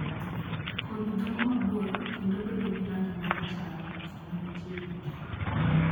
Kodhi dongo mabor kendo bedo gi rangi ma rachar sama gichiegni ke.